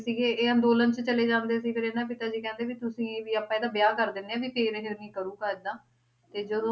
ਸੀਗੇ ਇਹ ਅੰਦੋਲਨ ਤੇ ਚਲੇ ਜਾਂਦੇ ਸੀ ਤੇ ਫੇਰ ਇਹਨਾਂ ਦੇ ਪਿਤਾ ਜੀ ਕਹਿੰਦੇ ਵੀ ਤੁਸੀ ਵੀ ਆਪਾਂ ਇਹਦਾ ਵਿਆਹ ਕਰ ਦੀਨੇ ਆ ਵੀ ਫੇਰ ਇਹ ਨਹੀਂ ਕਰੂਗਾ ਇੱਦਾਂ ਤੇ ਜਦੋਂ